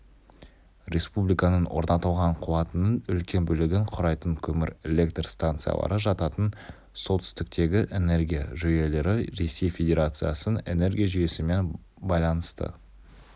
республиканың орнатылған қуатының үлкен бөлігін құрайтын көмір электр станциялары жататын солтүстіктегі энергия жүйелері ресей федерациясының энергия жүйесімен байланысты